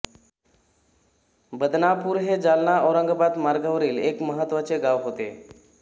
बदनापूर हे जालना औरंगाबाद मार्गावरील एक महत्त्वाचे गाव होते